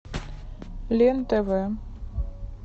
лен тв